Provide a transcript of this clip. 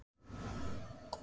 Stundum er talað um aurriða.